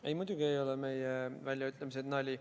Ei, muidugi ei ole meie väljaütlemised nali.